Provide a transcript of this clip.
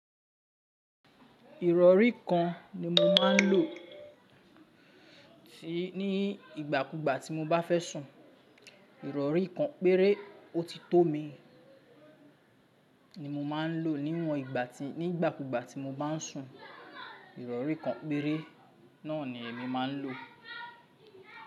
Ìrọ̀rí kan ni mo máa ń lò tí ní ìgbà kúgbà tí mo bá fẹ́ sùn. Ìrọ̀rí kan péré ó ti tó mi ni mo máa ń lò nínú ìgbà tí ní ìgbà kúgbà tí mo bá ń sùn. Ìrọ̀rí kan péré náà ni èmi máa ń lò.